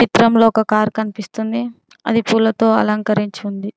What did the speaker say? చిత్రంలో ఒక కారు కనిపిస్తుంది అది పూలతో అలంకరించి ఉంది.